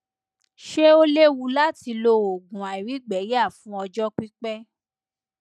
ṣé ó léwu láti lo oògùn àìrígbẹyà fún ọjọ pipẹ